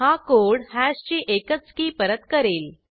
हा कोड हॅशची एकच की परत करेल